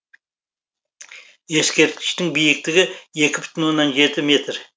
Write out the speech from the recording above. ескерткіштің биіктігі екі бүтін оннан жеті метр